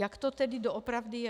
Jak to tedy doopravdy je?